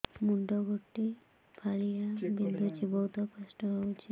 ମୁଣ୍ଡ ଗୋଟେ ଫାଳିଆ ବିନ୍ଧୁଚି ବହୁତ କଷ୍ଟ ହଉଚି